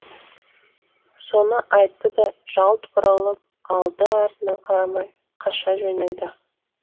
соны айтты да жалт бұрылып алды артына қарамай қаша жөнелді